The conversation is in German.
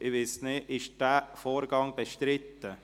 Ist dieser Vorgang bestritten?